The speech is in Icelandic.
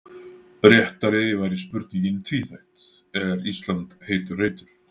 Réttari væri spurningin tvíþætt: Er Ísland heitur reitur?